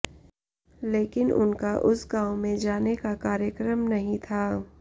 लेकिन उनका उस गांव में जाने का कार्यक्रम नहीं था